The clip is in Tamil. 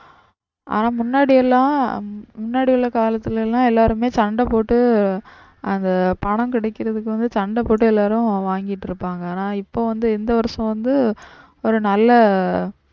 ஆனா முன்னாடியெல்லாம் முன்னாடி உள்ள காலத்துல எல்லாம் எல்லாருமே சண்டை போட்டு அந்த பணம் கிடைக்குறதுக்கு வந்து சண்டை போட்டு எல்லாரும் வாங்கிட்டிருப்பாங்க. ஆனா இப்ப வந்து இந்த வருஷம் வந்து ஒரு நல்ல